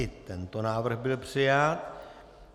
I tento návrh byl přijat.